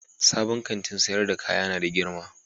Sabon Kantin sayar da kaya ya na da girma.